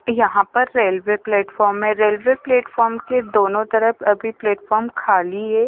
यहां पर railway platform है रेलवे प्लेटफार्म के दोनों तरफ अभी प्लेटफार्म खाली है।